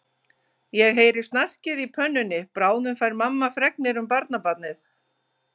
Ég heyri snarkið í pönnunni, bráðum fær mamma fregnir um barnabarnið.